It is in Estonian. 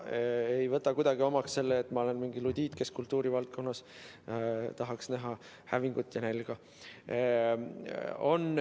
Ei võta kuidagi omaks seda, et ma olen mingi ludiit, kes kultuurivaldkonnas tahaks näha hävingut ja nälga.